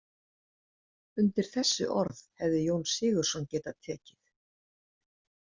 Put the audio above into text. Undir þessi orð hefði Jón Sigurðsson getað tekið.